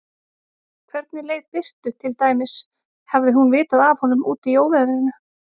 Hvernig leið Birtu til dæmis, hafði hún vitað af honum úti í óveðrinu?